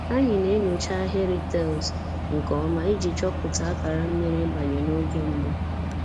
Anyị na-enyocha ahịrị taịls nke ọma iji chọpụta akara mmiri ịbanye n'oge mbụ